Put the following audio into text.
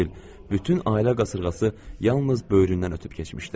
Elə bil, bütün ailə qasırğası yalnız böyründən ötüb keçmişdi.